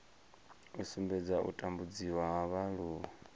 u sumbedza u tambudziwa ha vhaaluwa